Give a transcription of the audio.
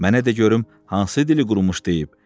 Mənə də görüm hansı dili qurumuş deyib.